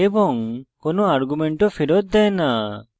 এবং কোনো আর্গুমেন্টও ফেরত দেয় না